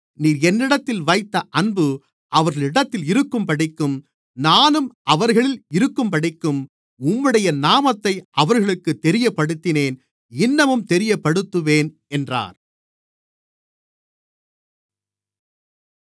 நீர் என்னிடத்தில் வைத்த அன்பு அவர்களிடத்தில் இருக்கும்படிக்கும் நானும் அவர்களில் இருக்கும்படிக்கும் உம்முடைய நாமத்தை அவர்களுக்குத் தெரியப்படுத்தினேன் இன்னமும் தெரியப்படுத்துவேன் என்றார்